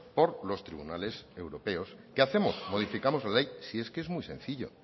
por los tribunales europeos qué hacemos modificamos la ley si es que es muy sencillo